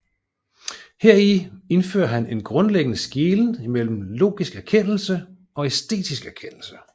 Heri indfører han en grundlæggende skelnen mellem logisk erkendelse og æstetisk erkendelse